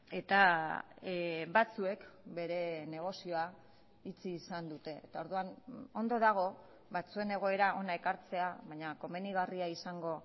eta batzuek bere negozioa itxi izan dute eta orduan ondo dago batzuen egoera hona ekartzea baina komenigarria izango